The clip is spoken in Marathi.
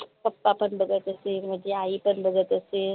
pappa पन बघत असेल माझी आई पण बघत असेल